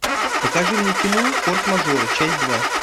покажи мне кино форс мажоры часть два